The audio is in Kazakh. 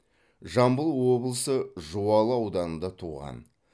жамбыл облысы жуалы ауданында туған